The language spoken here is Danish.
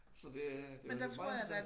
Så det det i øvrigt meget interessant